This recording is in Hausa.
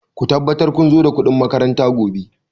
Ku tabbatar kun zo da kuɗin makaranta gobe!